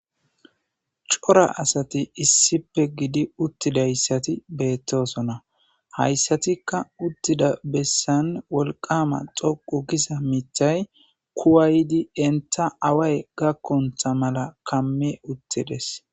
Cora asati issipe gidi uttidayssati beettosona hayssatikka uttida bessan wolqama xoqu giza mitay kuwaydi enta away gakkontha mala kamme uttides.